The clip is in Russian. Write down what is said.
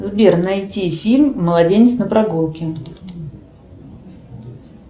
сбер найти фильм младенец на прогулке